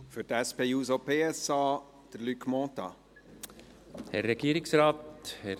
Für die SP-JUSO-PSA-Fraktion, Luc Mentha.